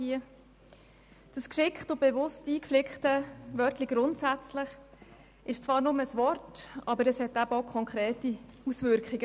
Dieses geschickt und bewusst hinein geflickte «grundsätzlich» ist zwar nur ein Wort, allerdings provoziert es konkrete Auswirkungen.